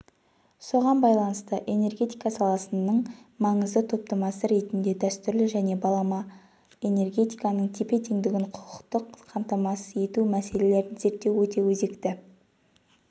соған байланысты энергетика саласының маңызды топтамасы ретінде дәстүрлі және балама энергетиканың тепе-теңдігінің құқықтық қамтамасыз ету мәселелерін зерттеу өте өзекті